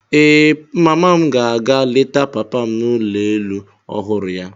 Ee, mama m ga-aga leta papa m n'ụlọ elu ọhụrụ ya.